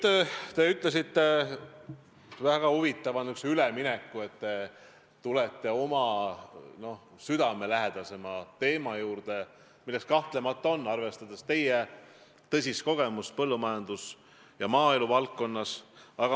Siis tegite te väga huvitava ülemineku ja ütlesite, et tulete endale südamelähedasema teema juurde, milleks kahtlemata on, arvestades teie tõsist kogemust, põllumajandus- ja maaeluvaldkond.